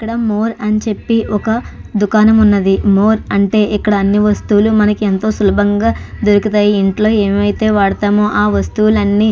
ఇక్కడ మోర్ అని చెప్పి ఒక దుకాణం ఉన్నది మోర్ అంటే ఇక్కడ అన్నీ వస్తువులు అన్నీ సులబంగా దొరుకుతాయి ఇంట్లో ఏవైతే వాడతామో ఆ వస్తువులు అన్నీ --